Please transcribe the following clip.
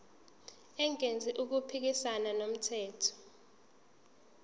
engenzi okuphikisana nomthetho